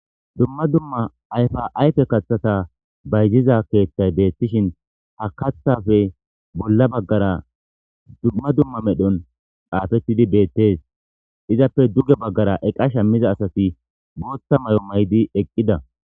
Dumma dumma ayfa'aype kaththata bayziza keeththay beettishin ha kathafe bolla baggara dumma dumma medhon xaafettidi beettes izappe duge baggara eqasha miza asasi bootta may'o maydi eqqida